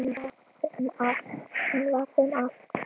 Hún var þeim allt.